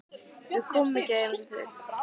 Við komum í gær eins og þið.